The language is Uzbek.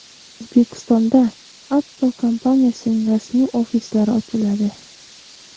O‘zbekistonda Apple kompaniyasining rasmiy ofislari ochiladi.